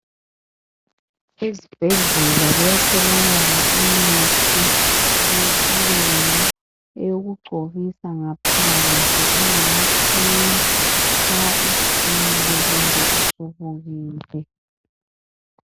Ezibhedlela kuyatholakala imithi yesilungu eyokugcobisa ngaphandle engama cream nxa utshile kumbe usubukile.